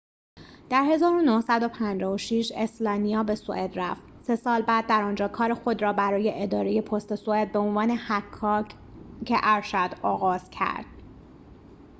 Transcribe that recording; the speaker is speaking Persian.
در ۱۹۵۶ اسلانیا به سوئد رفت سه سال بعد در آنجا کار خود را برای اداره پست سوئد به عنوان حکاک ارشد آغاز کرد